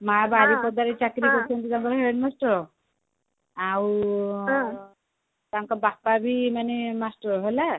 ମା ବାରିପଦା ରେ ଚାକିରି କରିଛନ୍ତି କଣ head master ଆଉ ତାଙ୍କ ବାପାବି ମାନେ master ହେଲା